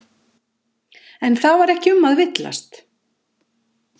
En það var ekki um að villast.